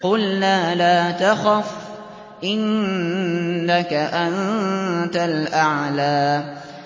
قُلْنَا لَا تَخَفْ إِنَّكَ أَنتَ الْأَعْلَىٰ